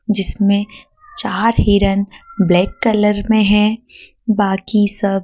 जिसमें चार हिरन ब्लैक कलर में है बाकी सब--